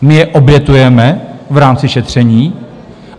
My je obětujeme v rámci šetření.